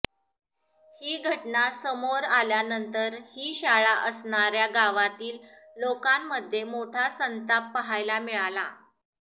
ही घटना समोर आल्यानंतर ही शाळा असणाऱ्या गावातील लोकांमध्ये मोठा संताप पाहायला मिळाला